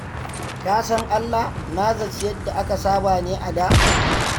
Ka san Allah na zaci yadda aka saba ne a da.